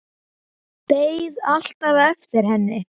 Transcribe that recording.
Beið alltaf eftir henni.